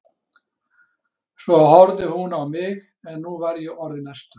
Svo horfði hún á mig en nú var ég orðinn æstur.